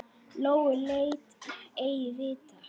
Lóu læt ei vita.